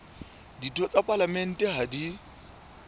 ditho tsa palamente ha di